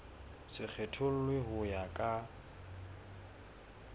se kgethollwe ho ya ka